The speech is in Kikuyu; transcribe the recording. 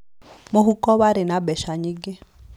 Mũhuko warĩ na mbeca nyingĩ.